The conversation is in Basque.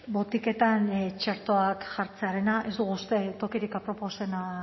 botiketan txertoa jartzearena ez dugu uste tokirik aproposena